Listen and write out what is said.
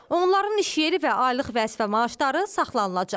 Onların iş yeri və aylıq vəzifə maaşları saxlanılacaq.